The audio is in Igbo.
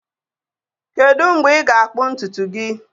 Kedu mgbe ị ga-akpụ ntutu gị?